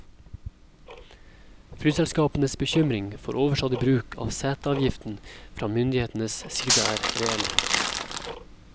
Flyselskapenes bekymring for overstadig bruk av seteavgiften fra myndighetenes side er reell.